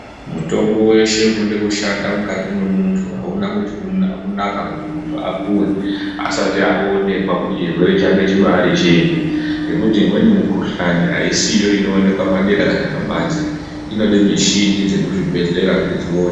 Mutombo weshe unode kushanda mukati mwemuntu auna kuti kuna kunaka kuti muntu apuwe asati aonekwa kuti chirwere chake chibari chei ngekuti imweni mikhuhlani aisiyo inooneka padera kana pabanze inode mishini dzechibhedhlera kuti dzione.